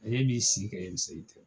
Ee e b'i si kɛ yani seli tɛ